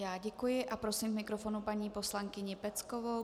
Já děkuji a prosím k mikrofonu paní poslankyni Peckovou.